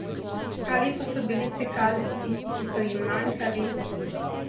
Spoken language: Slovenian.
Ali pa so bili sekalci tisti, ki so ji manjkali?